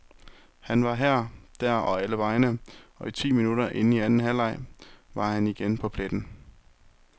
Han var her, der og allevegne, og ti minutter inde i anden halvleg var han igen på pletten.